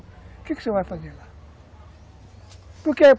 O que que você vai fazer lá? Porque